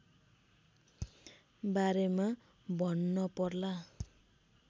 बारेमा भन्नपर्ला